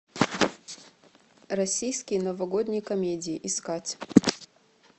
российские новогодние комедии искать